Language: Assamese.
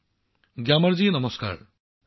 প্ৰধানমন্ত্ৰীঃ গ্যামাৰ জী নমস্তে